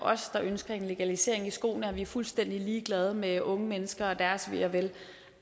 der ønsker en legalisering i skoene at vi er fuldstændig ligeglade med unge mennesker og deres ve og vel